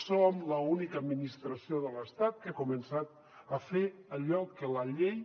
som l’única administració de l’estat que ha començat a fer allò que la llei